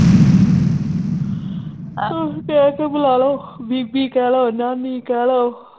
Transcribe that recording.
ਕਹਿ ਕੇ ਬੁਲਾਲੋ ਬੀਬੀ ਕਹਿਲੋ ਨਾਨੀ ਕਹਿਲੋ